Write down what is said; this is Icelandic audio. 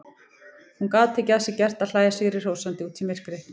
Hún gat ekki að sér gert að hlæja sigrihrósandi út í myrkrið.